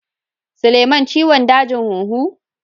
Suleman ciwon dajin huhu.